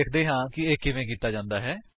ਵੇਖਦੇ ਹਾਂ ਕਿ ਇਹ ਕਿਵੇਂ ਕੀਤਾ ਜਾਂਦਾ ਹੈ